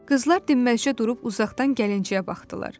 Qızlar dinməzcə durub uzaqdan gəlinciyə baxdılar.